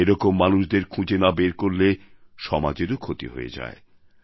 এ রকম মানুষদের খুঁজে না বের করলে সমাজেরও ক্ষতি হয়ে যায়